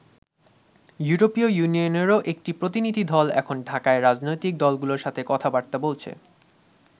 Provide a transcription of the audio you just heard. ইউরোপীয় ইউনিয়নেরও একটি প্রতিনিধিদল এখন ঢাকায় রাজনৈতিক দলগুলোর সাথে কথা-বার্তা বলছে।